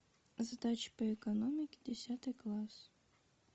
задачи по экономике десятый класс